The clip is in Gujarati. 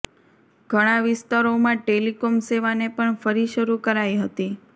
ઘણા વિસ્તારોમાં ટેલીકોમ સેવાને પણ ફરી શરૂ કરાઈ હતી